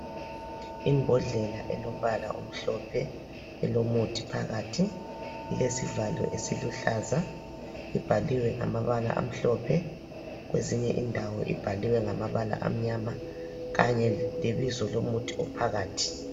Imbodlela elombala omhlophe, elomuthi phakathi. Ilesivalo esiluhlaza, ibhaliwe ngamabala amhlophe, kwezinye indawo ibhaliwe ngamabala amnyama kanye lebizo lomuthi ophakathi.